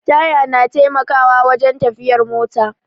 Taya na taimakawa wajen tafiyar mota